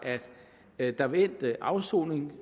at der ved endt afsoning